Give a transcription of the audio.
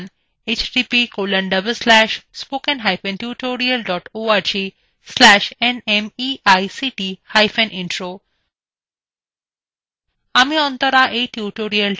এই বিষয় বিস্তারিত তথ্য এই লিঙ্কএ পাওয়া যাবে